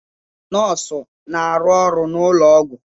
Nọọsụ na-arụ ọrụ n'ụlọ ọgwụ.